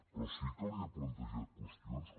però sí que li he plantejat qüestions com